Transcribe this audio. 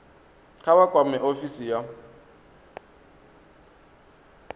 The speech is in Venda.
kha vha kwame ofisi ya